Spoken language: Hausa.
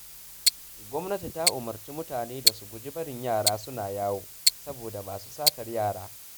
Gwamnati ta umarci mutane da a guji barin yara suna yawo, saboda masu satar yara